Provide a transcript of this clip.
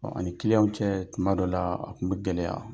Ɔ ani cɛ tuma dɔ la , a tun bɛ gɛlɛya.